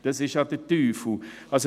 Das ist ja der Teufel.